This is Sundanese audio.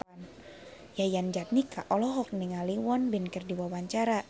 Yayan Jatnika olohok ningali Won Bin keur diwawancara